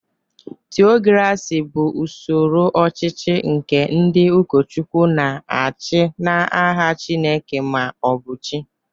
Theocracy bụ usoro ọchịchị nke ndị ụkọchukwu na-achị n'aha Chineke ma ọ bụ chi.